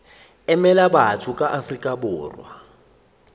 emela batho ba afrika borwa